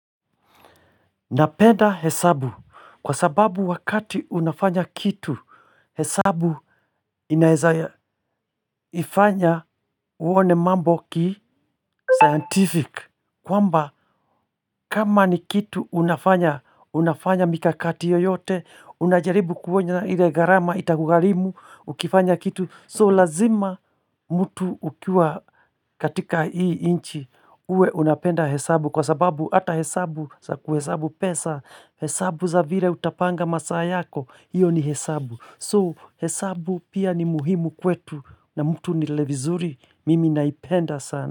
Napenda hesabu kwa sababu wakati unafanya kitu hesabu inaefanya uone mambo ki scientific kwamba kama ni kitu unafanya unafanya mikakati yoyote unajaribu kuona ile gharama itakugharimu ukifanya kitu so lazima mtu ukiwa katika hii nchi uwe unapenda hesabu kwa sababu hata hesabu sa kuhesabu pesa hesabu za vile utapanga masaa yako hiyo ni hesabu kwa hiyo hesabu pia ni muhimu kwetu na mtu ni vizuri mimi naipenda sana.